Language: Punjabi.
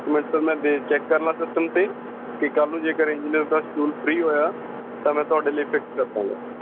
ਇੱਕ ਮਿੰਟ sir ਮੈਂ ਦੇਖਲਾਂ ਚੈਕ ਕਰਲਾਂ ਸਿਸਟਮ ਤੇ ਕੱਲ ਨੂੰ ਜੇਕਰ engineers ਦਾ schedule free ਹੋਇਆ ਤਾਂ ਮੈਂ ਤੁਹਾਡੇ ਲਈ fix ਕਰ ਦੇਉਂਗਾ।